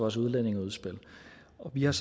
jeg